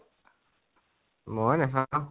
মই নেচাও